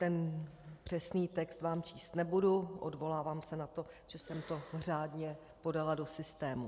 Ten přesný text vám číst nebudu, odvolávám se na to, že jsem to řádně podala do systému.